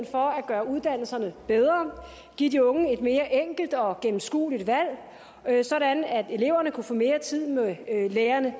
for at gøre uddannelserne bedre at give de unge et mere enkelt og gennemskueligt valg sådan at eleverne kunne få mere tid med lærerne